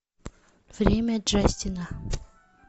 время джастина